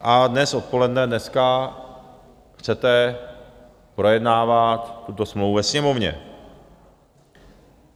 A dnes odpoledne, dneska chcete projednávat tuto smlouvu ve Sněmovně.